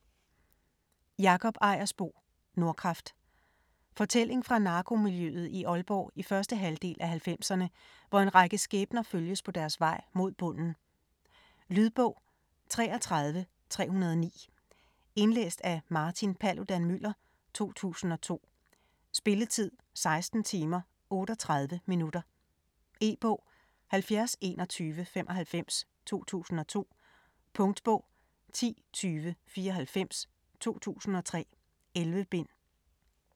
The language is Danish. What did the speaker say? Ejersbo, Jakob: Nordkraft Fortælling fra narkomiljøet i Aalborg i første halvdel af halvfemserne, hvor en række skæbner følges på deres vej mod bunden. Lydbog 33309 Indlæst af Martin Paludan-Müller, 2002. Spilletid: 16 timer, 38 minutter. E-bog 702195 2002. Punktbog 102094 2003. 11 bind.